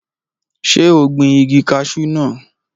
Ṣé o gbin igi kaṣú naa